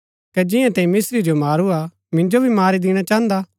कै जिंआं तैंई मिस्त्री जो मारूआ मिन्जो भी मारी दिणा चाहन्दा